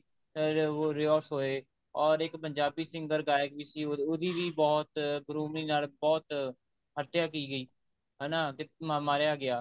ਹੋਏ or ਇੱਕ Punjabi singer ਗਾਇਕ ਵੀ ਸੀ ਉਹਦੀ ਵੀ ਬਹੁਤ ਬੇਰਹਿਮੀ ਨਾਲ ਬਹੁਤ ਹੱਤਿਆ ਕੀ ਗਈ ਹਨਾ ਤੇ ਮਾਰਿਆ ਗਿਆ